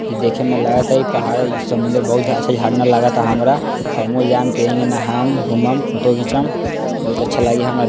इ देखे में लागता इ पहाड इ समुद्र बहुत अच्छा झरना लागता हमरा | हमहू जाएम त एही में नहाएम घुमम फोटो घीचम बहुत अच्छा लागी हमर --